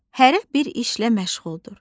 Hərə bir işlə məşğuldur.